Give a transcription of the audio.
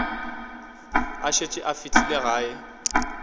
a šetše a fihlile gae